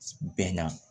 Bɛn na